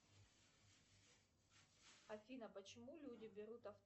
афина почему люди берут